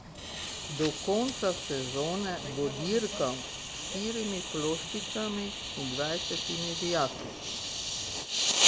Do konca sezone bo dirkal s štirimi ploščicami in dvajsetimi vijaki.